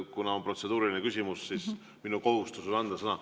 Kuna on protseduuriline küsimus, siis minu kohustus on anda sõna.